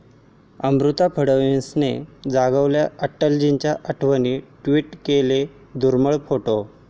अमृता फडणवीसांनी जागवल्या अटलजींच्या आठवणी, ट्विट केला दुर्मिळ फोटो